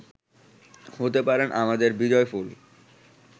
হতে পারে আমাদের বিজয়ফুল